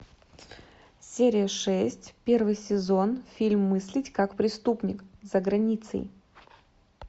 серия шесть первый сезон фильм мыслить как преступник за границей